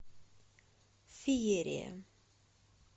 феерия